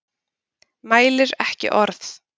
Mælir ekki orð.